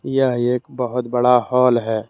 यह एक बहोत बड़ा हॉल है।